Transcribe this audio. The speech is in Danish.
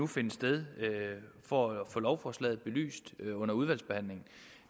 finde sted for at få lovforslaget belyst under udvalgsbehandlingen